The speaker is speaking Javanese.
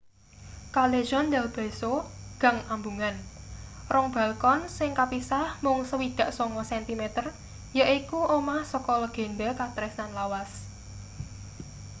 callejon del beso gang ambungan. rong balkon sing kapisah mung 69 sentimeter yaiku omah saka legenda katresnan lawas